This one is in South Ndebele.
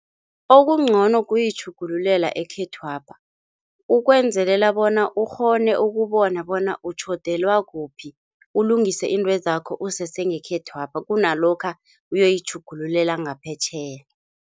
Okungcono kuyitjhugululela ekhethwapha ukwenzelela bona ukghone ukubona bona utjhodelwa kuphi, ulungise iintwezakho usese ngekhethwapha kunalokha uyoyitjhugululela ngaphetjheya.